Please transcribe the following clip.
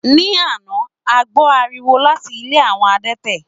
Ní àná, a gbó ariwo láti ilé àwọn adẹ́tẹ̀.